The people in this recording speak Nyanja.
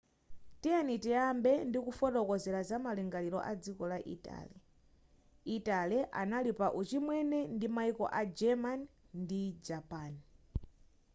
tiyeni tiyambe ndi kufotokozera zamalingaliro a dziko la italy italy anali pa uchimwene ndi maiko a germany ndi japan